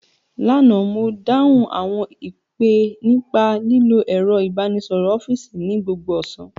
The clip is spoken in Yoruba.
Lánàá, mo dáhùn àwọn ìpè nípa lílo ẹ̀rọ ìbánisọ̀rọ̀ ọ́fíìsì ní gbogbo ọ̀sán